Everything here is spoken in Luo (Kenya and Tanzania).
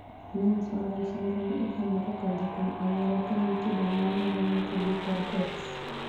Nance Horan syndrome igamo kokadho kuom anyuola kaen kido maneno motudi kod X.